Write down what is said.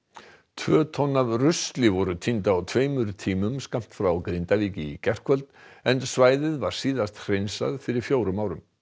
tvo tonn af rusli voru tínd á tveimur tímum skammt frá Grindavík í gærkvöldi en svæðið var síðast hreinsað fyrir fjórum árum